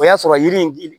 O y'a sɔrɔ yiri in